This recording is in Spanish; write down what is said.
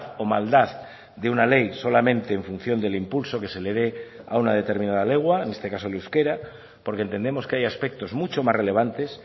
o maldad de una ley solamente en función del impulso que se le dé a una determinada lengua en este caso el euskera porque entendemos que hay aspectos mucho más relevantes